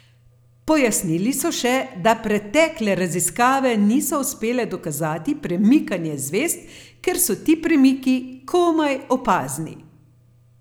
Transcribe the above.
Pojasnili so še, da pretekle raziskave niso uspele dokazati premikanja zvezd, ker so ti premiki komaj opazni.